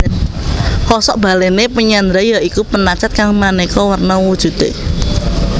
Kosok balèné penyandra ya iku penacat kang manéka werna wujudé